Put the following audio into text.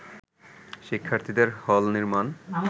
শিক্ষার্থীদের হল নির্মাণ